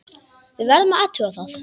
Við verðum að athuga það.